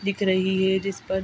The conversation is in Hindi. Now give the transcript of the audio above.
दिख रही है ये जिस पर --